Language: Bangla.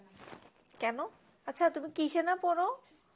কেন আচ্ছা তুমি কিসে না পড়ো?